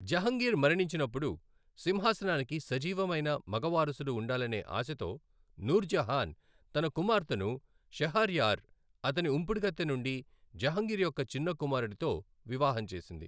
జహంగీర్ మరణించినప్పుడు సింహాసనానికి సజీవమైన మగ వారసుడు ఉండాలనే ఆశతో నూర్ జహాన్ తన కుమార్తెను షహర్యార్, అతని ఉంపుడుగత్తె నుండి జహంగీర్ యొక్క చిన్న కుమారుడుతో వివాహం చేసింది.